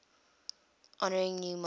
honouring new monarchs